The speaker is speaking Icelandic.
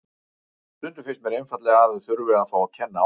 Stundum finnst mér einfaldlega að það þurfi að fá að kenna á því.